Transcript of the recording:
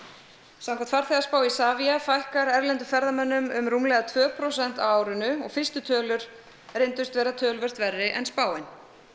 samkvæmt farþegaspá Isavia fækkar erlendum ferðamönnum um rúmlega tvö prósent á árinu og fyrstu tölur reyndust vera töluvert verri en spáin